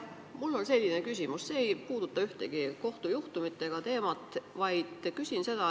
Mul on selline küsimus, mis ei puuduta ühtegi kohtujuhtumit ega mingit sellist teemat.